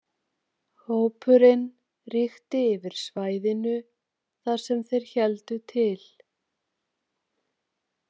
Hópurinn ríkti yfir svæðinu þar sem þeir héldu til.